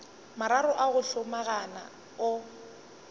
mararo a go hlomagana o